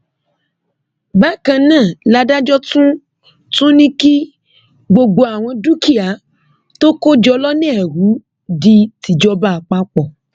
bákan náà làdájọ tún ní kí gbogbo àwọn dúkìá tó kó jọ lọnà ẹrú di tìjọba àpapọ